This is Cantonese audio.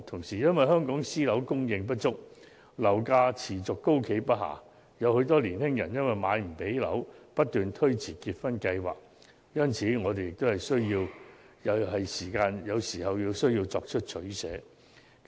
再加上香港私樓的供應不足，樓價持續高企不下，很多青年人因無法負擔樓價而要不斷推遲結婚計劃，因此，我們也是時候要作出取捨。